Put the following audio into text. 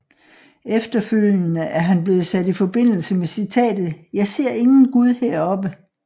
Efterfølgende er han blevet sat i forbindelse med citatet Jeg ser ingen Gud heroppe